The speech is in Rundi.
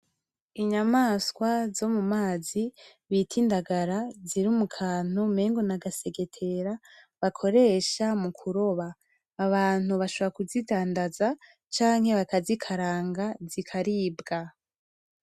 Inyamaswa zo mu mazi bita indagala , ziri mu kantu umengo n'agasegetera bakoresha mu kuroba, abantu bashobora kuzidandaza canke bakazikaranga zikaribwa.